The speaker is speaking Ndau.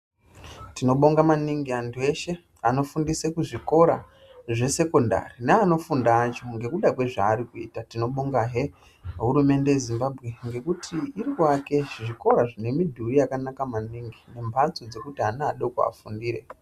Tinobonga maningi antu eshe anofundise kuzvikora zvesekondari neanofunda acho ngekuda kwezvaarikuita tinobonga hee nehurumende yeZimbabwe ngekuti irikuake zvikora zvinemudhuri yakanaka maningi nemhatso dzekuti ana adoko afundire.